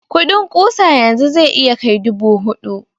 kudin ƙusa yanzu zai iya kai dubu hudu